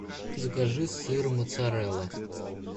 закажи сыр моцарелла